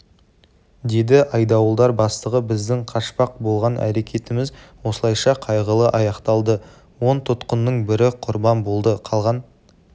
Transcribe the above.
деді айдауылдар бастығы біздің қашпақ болған әрекетіміз осылайша қайғылы аяқталды он тұтқынның бірі құрбан болды қалған